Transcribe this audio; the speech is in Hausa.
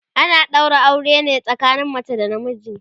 ana ɗaura aure ne tsakanin mace da na miji